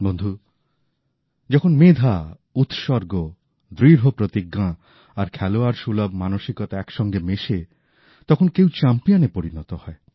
বন্ধু যখন মেধা উৎসর্গ দৃঢ়প্রতিজ্ঞা আর খেলোয়াড়সুলভ মানসিকতা একসঙ্গে মেশে তখন কেউ চ্যাম্পিয়নে পরিণত হয়